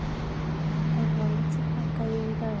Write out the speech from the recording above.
Evald, hækkaðu í græjunum.